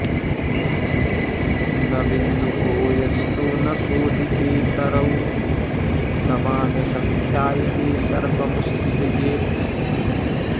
न बिन्दुको यस्तु न शोधितेतरौ समानसंख्या यदि सर्वमुस्सृजेत्